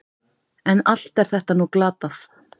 En allt er þetta nú glatað.